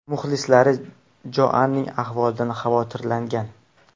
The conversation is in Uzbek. Muxlislari Joanning ahvolidan xavotirlangan.